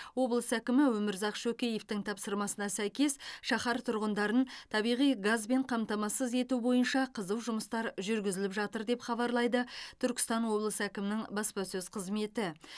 облыс әкімі өмірзақ шөкеевтің тапсырмасына сәйкес шаһар тұрғындарын табиғи газбен қамтамасыз ету бойынша қызу жұмыстар жүргізіп жатыр деп хабарлайды түркістан облысы әкімінің баспасөз қызметі